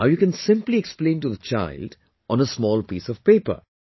Now you can simply explain to the child on a small piece of paper